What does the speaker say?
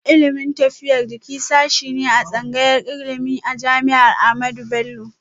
Ilimin lafiyar jiki sashe ne a tsangayar ilimi a jami'ar Ahmadu Bello